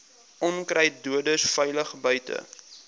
onkruiddoders veilig buite